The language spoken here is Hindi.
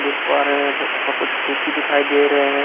देख पा रहे हैं कुछ खिरकी दिखाई दे रहे हैं।